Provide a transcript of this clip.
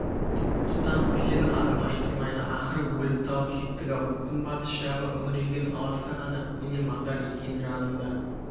тұтам кісен адым аштырмайды ақыры өліп-талып жеттік-ау күнбатыс жағы үңірейген аласа ғана көне мазар екен жанында